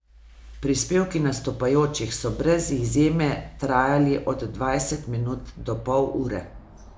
Prispevki nastopajočih so brez izjeme trajali od dvajset minut do pol ure.